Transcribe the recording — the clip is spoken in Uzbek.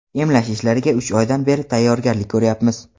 emlash ishlariga uch oydan beri tayyorgarlik ko‘ryapmiz.